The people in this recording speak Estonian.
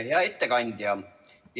Hea ettekandja!